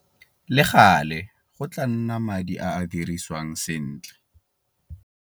Le gale, go tlaa nna madi a a dirisiwang sentle.